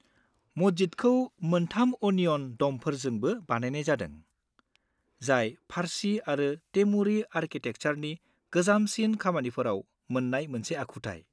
-मस्जिदखौ मोनथाम अनिय'न द'मफोरजोंबो बानायनाय जादों, जाय फारसि आरो तेमुरि आरकिटेकचारनि गोजामसिन खामानिफोराव मोन्नाय मोनसे आखुथाय।